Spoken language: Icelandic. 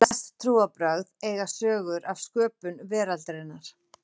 flest trúarbrögð eiga sögur af sköpun veraldarinnar